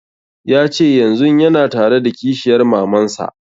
Ya ce yanzun yana tare da kishiyar maman sa